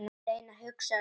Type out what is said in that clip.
Að reyna að hugsa rökrétt